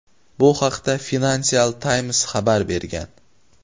Bu haqda "Financial Times" xabar bergan.